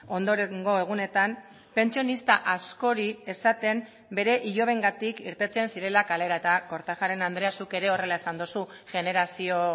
ondorengo egunetan pentsionista askori esaten bere ilobengatik irteten zirela kalera eta kortajarena andrea zuk ere horrela esan duzu generazio